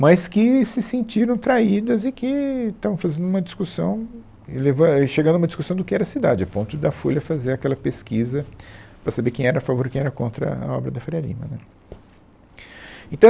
mas que se sentiram traídas e que estavam fazendo uma discussão, e levan, é e chegando a uma discussão do que era a cidade, a ponto da Folha fazer aquela pesquisa para saber quem era a favor e quem era contra a obra da Faria Lima, né. Então